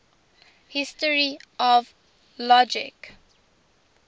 history of logic